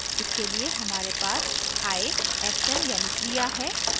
इसके लिए हमारे पास i action यानी क्रिया है